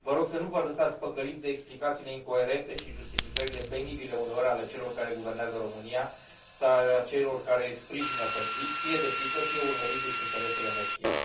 Vă rog să nu vă lăsați păcăliți de explicațiile incoerente și justificările, penibile uneori, ale celor care guvernează România sau ale celor care îi sprijină fățiș, fie de frică, fie urmărindu și interesele meschine.